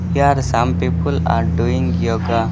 Here some people are doing yoga.